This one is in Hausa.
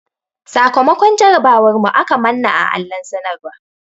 Sakamakon jarabawar mu aka manna a allon sanarwan.